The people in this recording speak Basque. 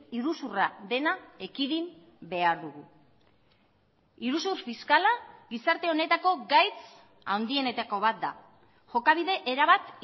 iruzurra dena ekidin behar dugu iruzur fiskala gizarte honetako gaitz handienetako bat da jokabide erabat